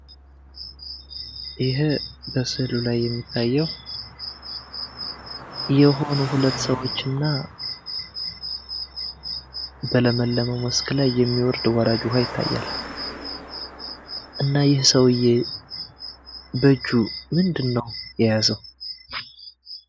ይህ በስዕሉ ላይ የሚታየው የሆኑ ሁለት ሰዎችና በለመለመው መስክ ላይ የሚወርድ ወራጅ ውሃ ይታያል። እና ይህ ሰውዬ ምንድነው በእጁ የያዘው?